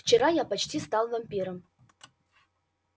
вчера я почти стал вампиром